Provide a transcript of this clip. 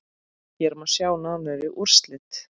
Hér má sjá nánari úrslit.